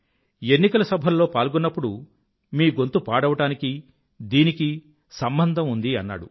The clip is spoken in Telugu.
ఎన్నికల సభల్లో పాల్గొన్నప్పుడు మీ గొంతు పాడవడానికీ దీనికీ సంబంధం ఉంది అన్నాడు